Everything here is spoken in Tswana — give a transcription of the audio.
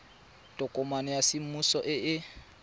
tokomane ya semmuso e e